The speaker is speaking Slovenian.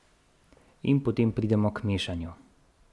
In potem pridemo k mešanju.